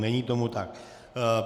Není tomu tak.